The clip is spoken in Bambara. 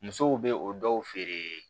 Musow bɛ o dɔw feere